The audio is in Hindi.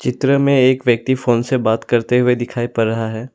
इत्र में एक व्यक्ति फोन से बात करते हुए दिखाई पड़ रहा है।